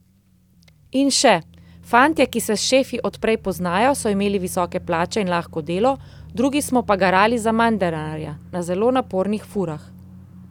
In še: 'Fantje, ki se s šefi od prej poznajo, so imeli visoke plače in lahko delo, drugi smo pa garali za manj denarja, na zelo napornih furah.